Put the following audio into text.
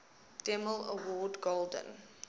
demille award golden